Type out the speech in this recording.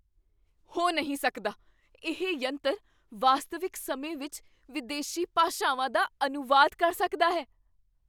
ਹੋ ਨਹੀਂ ਸਕਦਾ! ਇਹ ਯੰਤਰ ਵਾਸਤਵਿਕ ਸਮੇਂ ਵਿੱਚ ਵਿਦੇਸੀ ਭਾਸ਼ਾਵਾਂ ਦਾ ਅਨੁਵਾਦ ਕਰ ਸਕਦਾ ਹੈ?